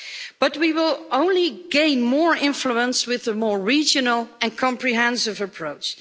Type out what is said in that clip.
But we will only gain more influence with a more regional and comprehensive approach.